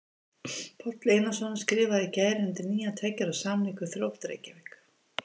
Páll Einarsson skrifaði í gær undir nýjan tveggja ára samning við Þrótt Reykjavík.